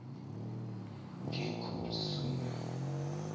ha ho boletswe le ho